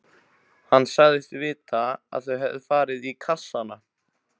Hann sagðist vita að þau hefðu farið í kassana.